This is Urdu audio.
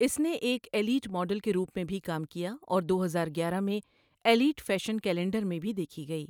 اس نے اک ایلیٹ ماڈل کے روپ میں بھی کام کیا اور دو ہزار گیارہ میں ایلیٹ فیشن کیلنڈر میں بھی دیکھی گئی۔